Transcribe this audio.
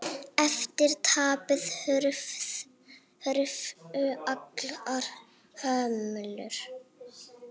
Eftir tapið hurfu allar hömlur.